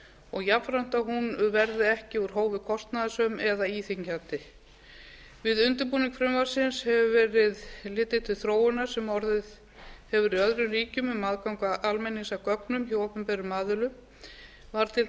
og jafnframt að hún verði ekki úr hófi kostnaðarsöm eða íþyngjandi við undirbúning frumvarpsins hefur verið litið til þróunar sem orðið hefur í öðrum ríkjum um aðgang almennings að gögnum hjá opinberum aðilum var til